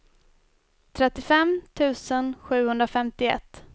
trettiofem tusen sjuhundrafemtioett